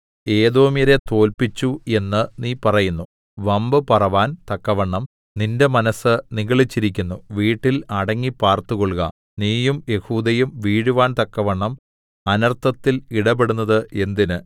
ഏദോമ്യരെ തോല്പിച്ചു എന്നു നീ പറയുന്നു വമ്പുപറവാൻ തക്കവണ്ണം നിന്റെ മനസ്സ് നിഗളിച്ചിരിക്കുന്നു വീട്ടിൽ അടങ്ങി പാർത്തുകൊൾക നീയും യെഹൂദയും വീഴുവാൻ തക്കവണ്ണം അനർത്ഥത്തിൽ ഇടപെടുന്നത് എന്തിന്